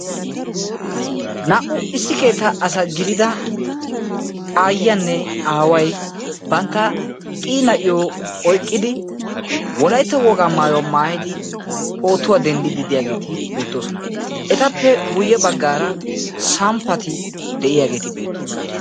Naa"u issi keettaa asa gidida aayiyanne aaway bantta qii na'iyo oyqqidi wolaytta wogaa maayuwa maayidi pootuwaa denddidi de'iyaageeti beettoosona etappe guye baggaara samppati de'iyageti beettoosona.